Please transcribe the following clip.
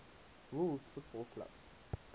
rules football clubs